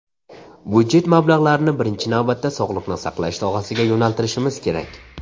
Budjet mablag‘larini birinchi navbatda sog‘liqni saqlash sohasiga yo‘naltirishimiz kerak.